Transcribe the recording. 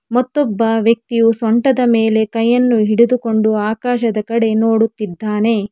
ಮತ್ತೊಬ್ಬ ವ್ಯಕ್ತಿಯು ಸೊಂಟದ ಮೇಲೆ ಕೈಯನ್ನು ಹಿಡಿದುಕೊಂಡು ಆಕಾಶದ ಕಡೆ ನೋಡುತ್ತಿದ್ದಾನೆ.